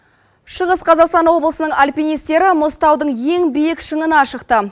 шығыс қазақстан облысының альпинистері мұзтаудың ең биік шыңына шықты